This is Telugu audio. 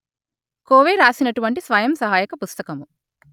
కోవే రాసినటువంటి స్వయం సహాయక పుస్తకము